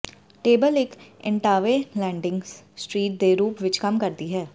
table ਇੱਕ ਏਨਟਾਵੇ landing street ਦੇ ਰੂਪ ਵਿੱਚ ਕੰਮ ਕਰਦੀ ਹੈ